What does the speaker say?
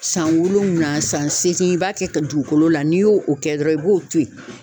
San wolonwula san san segin b'a kɛ ka dugukolo la n'i y'o o kɛ dɔrɔn i b'o to yen.